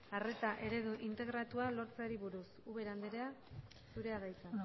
arreta eredu integratua lortzeari buruz ubera andrea zurea da hitza